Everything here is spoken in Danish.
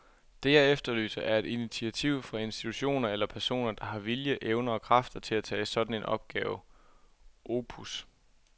Det, jeg efterlyser, er et initiativ fra institutioner eller personer, der har vilje, evner og kræfter til at tage en sådan opgave opus.